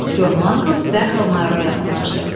Con Mangls dərhal mayora yaxınlaşdı.